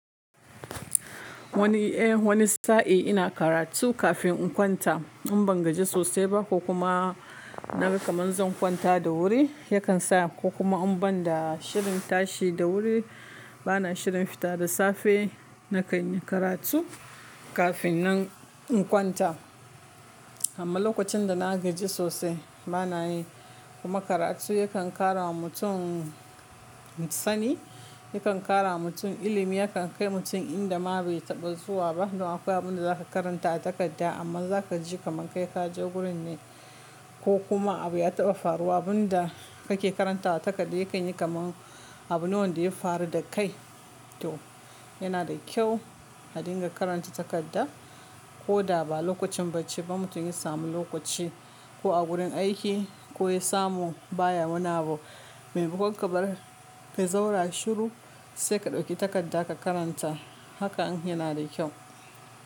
Wani, eh wani sa'i ina karatu kafin in kwanta. In ban gaji sosai ba ko kuma na ga kamar zan kwanta da wuri, yakan sa ko kuma in ban da shirin tashi da wuri, bana shirin fita da safe, na kai ni karatu kafin nan in kwanta. Amma lokacin da na gaji sosai bana yi. Kuma karatu yakan ƙara wa mutum sani, yakan ƙara wa mutum ilimi, yakan kai mutum inda ma bai taɓa zuwa ba. To akwai abin da za ka karanta a takarda amma za ka ji kamar kai ka je wurin ne ko kuma abu ya taɓa faruwa. Abun da kake karantawa takarda ya ƙayi kamar abu ne wanda ya faru da kai. To yana da kyau a dinga karanta takarda, ko da ba lokacin bacci ba. Mutum ya samu lokaci, ko a wurin aiki, ko ya samu baya wuna abu. Mai makon ka zauna shiru, sai ka ɗauki takarda ka karanta. Haka din yana da kyau.